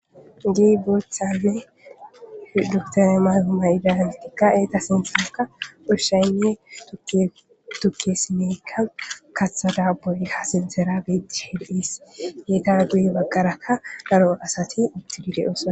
Di boothaze duktane mayhoma idantikka eeta sintxeraka ushshayne tukke simeykka kaththada boyiha sintera betti hido7is geeta duye bagqarakka daro asati uttidile osa.